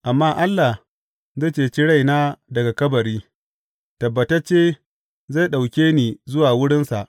Amma Allah zai ceci raina daga kabari; tabbatacce zai ɗauke ni zuwa wurinsa.